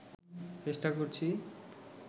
চেষ্টা করছি